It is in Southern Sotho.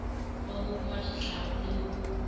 ba ho pshatla le ho